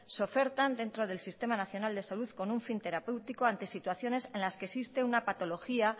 se ofertan dentro del sistema nacional de salud con un fin terapéutico ante situaciones en las que existe una patología